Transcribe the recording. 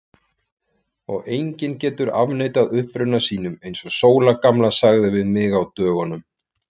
Og enginn getur afneitað uppruna sínum, eins og Sóla gamla sagði við mig á dögunum.